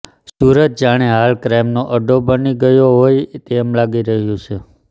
સુરત જાણે હાલ ક્રાઈમનો અડ્ડો બની ગયો હોય તેમ લાગી રહ્યું છે